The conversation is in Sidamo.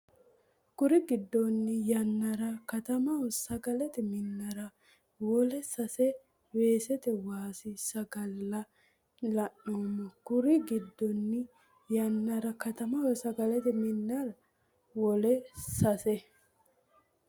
Kuri giddonni yannara katamaho sagalete minnara wole sase weesete waasi sagale la neemmo Kuri giddonni yannara katamaho sagalete minnara wole sase.